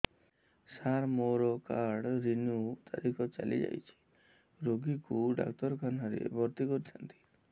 ସାର ମୋର card renew ତାରିଖ ଚାଲି ଯାଇଛି ରୋଗୀକୁ ଡାକ୍ତରଖାନା ରେ ଭର୍ତି କରିଥାନ୍ତି